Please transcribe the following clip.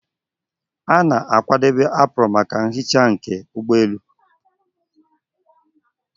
A na-akwadebe apron maka nhicha nke ụgbọelu